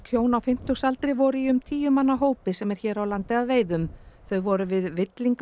hjón á fimmtugsaldri voru í um tíu manna hópi sem er hér á landi að veiðum þau voru við